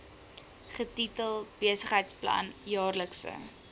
getitel besigheidsplan jaarlikse